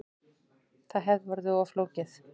Það hefði orðið of flókið